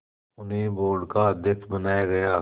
उन्हें बोर्ड का अध्यक्ष बनाया गया